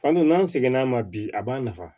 Fantan n'an seginna a ma bi a b'a nafa